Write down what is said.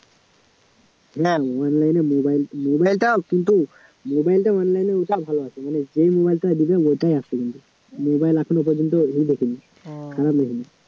না মানে mobile mobile টাও কিন্তু মোবাইলটা online ভালো আছে মানে যে মোবাইলটা দিবে ওটাই আছে কিন্তু মোবাইল এখনও পর্যন্ত ই দেখিনি খারাপ দেখিনি